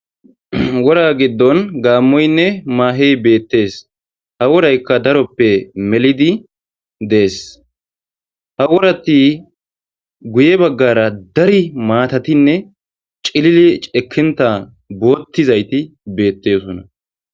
wora giddon gaammoynne maahey beettees ha woraykka daroppe melidi dees ha worati guye baggara dari maatatinne cilili cekinta boottizayti beettesona